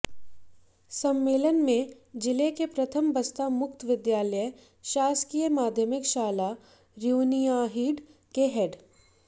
सम्मेलन में जिले के प्रथम बस्ता मुक्त विद्यालय शासकीय माध्यमिक शाला रुनियाडीह के हेड